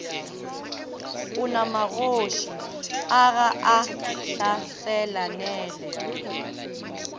onamagoši a ga a hlaselanele